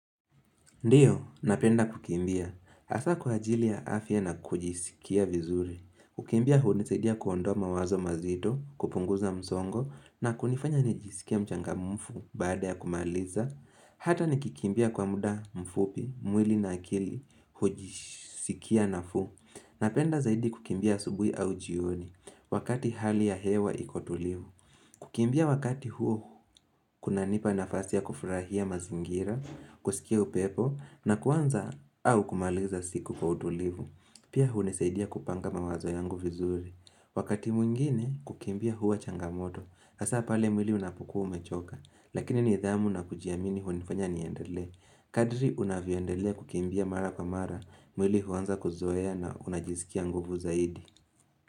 Ndiyo, napenda kukimbia. Hasa kwa ajili afya na kujisikia vizuri. Kukimbia hunisadia kuondoa mawazo mazito, kupunguza msongo na kunifanya nijisikia mchangamfu baada ya kumaliza. Hata nikikimbia kwa muda mfupi, mwili na akili, hujisikia nafuu. Napenda zaidi kukimbia asubui au jioni, wakati hali ya hewa iko tulivu. Kukimbia wakati huo, kunanipa nafasi ya kufurahia mazingira, kusikia upepo, na kuanza au kumaliza siku kwa utulivu. Pia hunisaidia kupanga mawazo yangu vizuri. Wakati mwingine, kukimbia hua changamoto. Hasaa pale mwili unapukua umechoka, lakini nidhamu na kujiamini hunifanya niendelee. Kadri unavyoendelea kukimbia mara kwa mara, mwili huanza kuzoea na unajisikia nguvu zaidi.